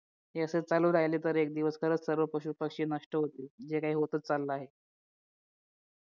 हे असे चालू राहिले तर एक दिवस खरंच सर्व पशुपक्षी नष्ट होतील जे काही होत चाललं आहे